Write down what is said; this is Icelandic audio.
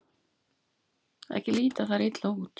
Ekki líta þær illa út.